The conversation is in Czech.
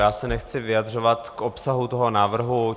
Já se nechci vyjadřovat k obsahu toho návrhu.